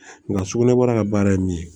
Nka sugunɛbara ka baara ye min ye